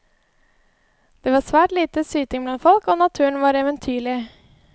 Det var svært lite syting blant folk, og naturen er eventyrlig.